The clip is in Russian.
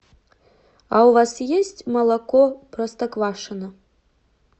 а у вас есть молоко простоквашино